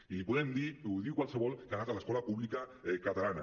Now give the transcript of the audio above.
i li podem dir ho diu qualsevol que ha anat a l’escola pública catalana